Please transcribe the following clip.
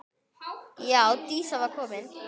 Já, Dísa var komin.